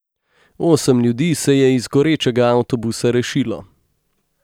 Osem ljudi se je iz gorečega avtobusa rešilo.